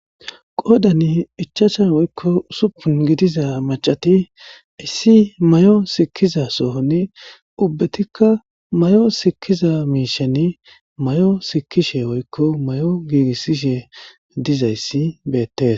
Qodani ichasha woykko usuppun gidiza macati issi mayo sikkiza soohoni ubbetikka mayo sikkiza miisheni mayo sikishe woykko mayo giigissishe dizayssi beettes.